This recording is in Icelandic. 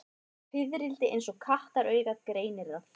Fiðrildi eins og kattaraugað greinir það.